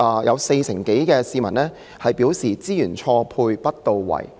"有四成多受訪市民表示"資源錯配不到位"。